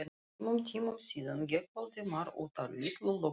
Tveimur tímum síðar gekk Valdimar út af litlu lögreglu